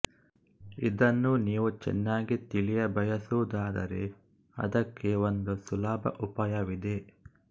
ಇದನ್ನು ನೀವು ಚೆನ್ನಾಗಿ ತಿಳಿಯಬಯಸುವುದಾದರೆ ಅದಕ್ಕೆ ಒಂದು ಸುಲಭ ಉಪಾಯವಿದೆ